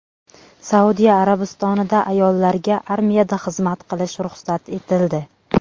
Saudiya Arabistonida ayollarga armiyada xizmat qilish ruxsat etildi.